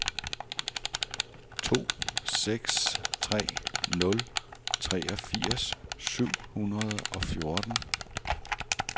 to seks tre nul treogfirs syv hundrede og fjorten